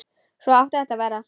Svona átti þetta að vera.